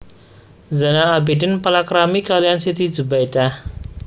Zainal Abidin palakrami kaliyan Siti Zubaidah